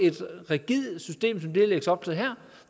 et rigidt system som det der lægges op til her